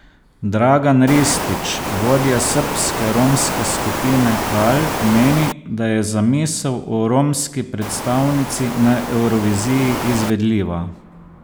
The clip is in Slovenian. Dragan Ristić, vodja srbske romske skupine Kal, meni, da je zamisel o romski predstavnici na Evroviziji izvedljiva.